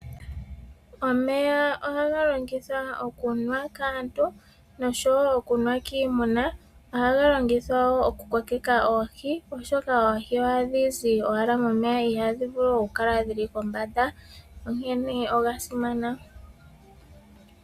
Omeya ohaga longithwa okunwa kaantu nosho wo okunwa kiimuna, ohaga longithwa wo okukokeka oohi, oshoka oohi ohadhi zi momeya ihadhi vulu okukala dhili kombanda onkene oga simana.